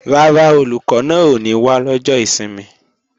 Rárá, Olùkọ́ náà ò ní wá lọ́jọ́ ìsinmi